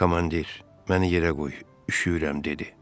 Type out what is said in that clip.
Komandir, məni yerə qoy, üşüyürəm, dedi.